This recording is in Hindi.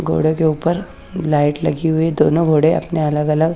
घोड़े के ऊपर लाइट लगी हुई है दोनो घोड़े अपने अलग अलग--